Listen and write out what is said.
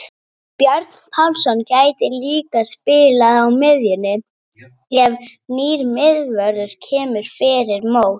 Björn Pálsson gæti líka spilað á miðjunni ef nýr miðvörður kemur fyrir mót.